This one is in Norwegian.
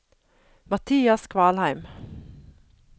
Mathias Kvalheim